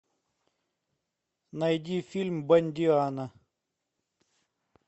найди фильм бондиана